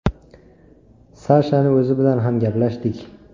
Sashani o‘zi bilan ham gaplashdik.